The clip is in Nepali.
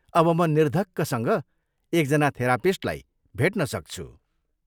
अब म निर्धक्कसँग एकजना थेरापिस्टलाई भेट्न सक्छु।